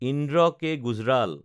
Indra K. Gujral